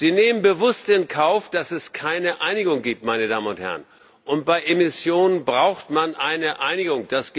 Sie nehmen bewusst in Kauf, dass es keine Einigung gibt, meine Damen und Herren, und bei Emissionen braucht man eine Einigung.